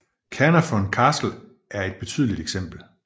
Caernarfon Castle er et betydeligt eksempel